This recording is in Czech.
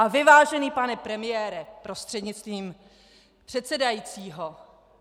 A vy, vážený pane premiére prostřednictvím předsedajícího.